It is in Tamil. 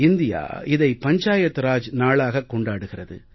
இந்தியா இதை பஞ்சாயத் ராஜ் நாளாக கொண்டாடுகிறது